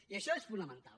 i això és fonamental